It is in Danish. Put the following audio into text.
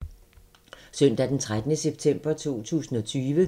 Søndag d. 13. september 2020